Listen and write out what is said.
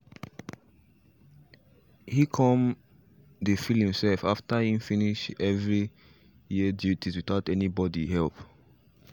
he come dey feel himself after he finish his every year duties without any body help